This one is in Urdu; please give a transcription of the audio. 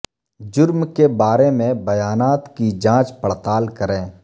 جرم کے بارے میں بیانات کی جانچ پڑتال کریں